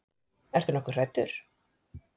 Ertu nokkuð hræddur?